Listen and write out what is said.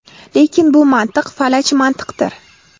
Lekin bu mantiq falaj mantiqdir.